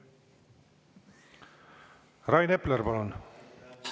Rain Epler, palun!